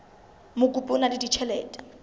mokopi o na le ditjhelete